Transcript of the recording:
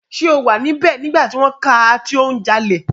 Ṣé o wà níbẹ̀ nígbà tí wọ́n ká a tí ó ń jalè?